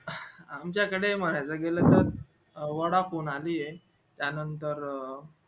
आमच्या कडे म्हणायला गेलं त vodafone आधी ये त्या नंतर